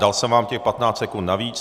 Dal jsem vám těch 15 sekund navíc.